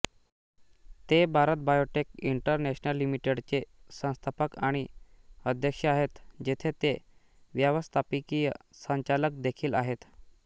ते Bharat Biotech International लिमिटेडचे संस्थापक आणि अध्यक्ष आहेत जेथे ते व्यवस्थापकीय संचालक देखील आहेत